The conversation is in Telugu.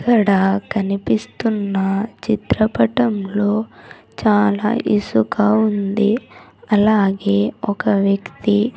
ఇక్కడ కనిపిస్తున్న చిత్రపటంలో చాలా ఇసుక ఉంది అలాగే ఒక వ్యక్తి--